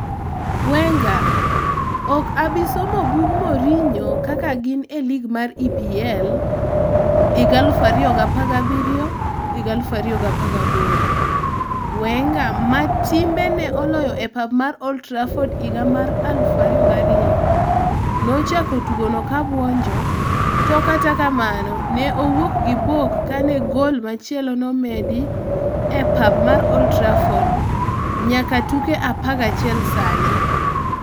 Wenger: ok abi somo bug Mourinho kak gi n elig mar EPL 2017/18 Wenger - ma timbe ne oloyo e pap mar Old Trafford higa mar 2002 -nochako tugono ka buonjo to kata kamano ne owuok gi buok kane gol machielo nomedi e pap mar Old Trafford nyaka tuke 11 sani.